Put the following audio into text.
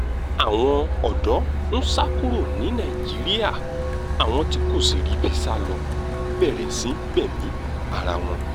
àwọn ọ̀dọ́ ń sá kúrò ní nàìjíríà àwọn tí kò sì ríbi sá ló bẹ̀rẹ̀ sí í gbẹ̀mí ara wọn